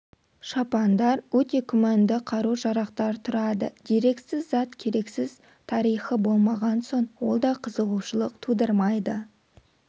шапандар өте күмәнді қару-жарақтар тұрады дерексіз зат керексіз тарихы болмаған соң ол да қызығушылық тудырмайды